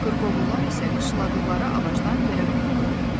Qırqovullar isə qışladıqları ağacdan yerə qondu.